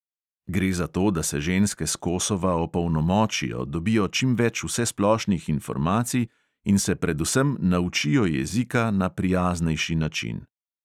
Gre za to, da se ženske s kosova opolnomočijo, dobijo čim več vsesplošnih informacij in se predvsem naučijo jezika na prijaznejši način.